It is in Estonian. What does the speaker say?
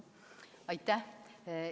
Aitäh!